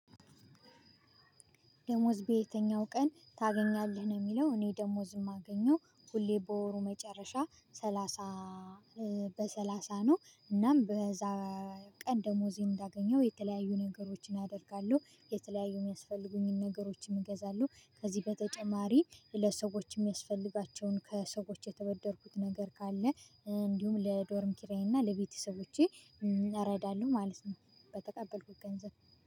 ደሞዝ በየትኛው ቀን ታገኛለህ? ነው የሚለው። እኔ ደሞዝም የማገኘው ሁሌ በወሩ መጨረሻ ሰላሳ በሰላሳ ነው። እናም በዛ ቀን ደሞዜን እንዳገኘሁ የተለያዩ ነገሮችን አደርጋለሁ። የተለያዩ የሚያስፈልጉኝን ነገሮችን እገዛለሁ። ከዚህ በተጨማሪ ለሰዎችም የሚያስፈልጋቸውን ከሰዎች የተበደርኩት ነገር ካለ እንዲሁም ለዶርም ኪራዬና ለቤተሰቦቼ እረዳለሁ ማለት ነው። በተቀበልኩት ገንዘብ